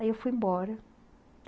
Aí eu fui embora.